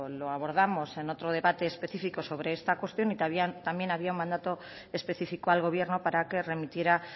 lo abordamos en otro debate específico sobre esta cuestión y también había un mandato específico al gobierno para que remitiera